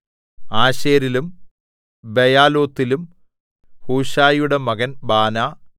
ആശേരിലും ബെയാലോത്തിലും ഹൂശയിയുടെ മകൻ ബാനാ